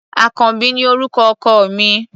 Àkànbí ni orúkọ ọkọ mi.